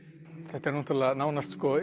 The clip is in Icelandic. þetta er náttúrulega nánast